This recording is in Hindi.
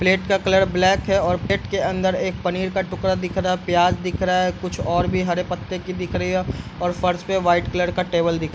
प्लेट का कलर ब्लैक है और प्लेट के अंदर एक पनीर का टुकड़ा दिख रहा है प्याज दिख रहा है कुछ और भी हरे पत्ते की दिख रहे है और फर्श पर व्हाइट कलर का टेबल दिख रहा है।